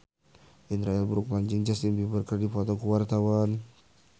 Indra L. Bruggman jeung Justin Beiber keur dipoto ku wartawan